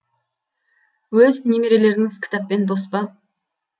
өз немерелеріңіз кітаппен дос па